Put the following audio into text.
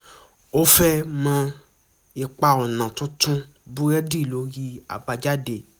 ó fẹ́ mọ ipa ọ̀nà tuntun búrẹ́dì lórí àbájáde